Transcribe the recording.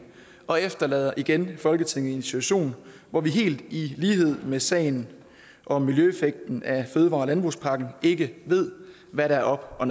og efterlader igen folketinget i en situation hvor vi helt i lighed med sagen om miljøeffekten af fødevare og landbrugspakken ikke ved hvad der er op og